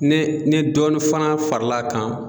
Ne ne ni dɔɔnin fana faral'a kan